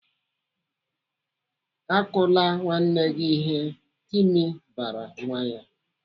"Akụla nwanne gị ihe." Timi bara nwa ya.